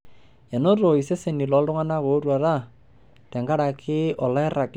Enoto seseni ooltung'ana ootuata tenkaraki oloirag lenkare oyawua enchan sapuk.